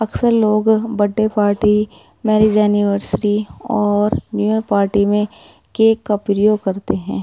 अक्सर लोग birthday party marriage anniversary और न्यू ईयर पार्टी में केक का प्रयोग करते हैं।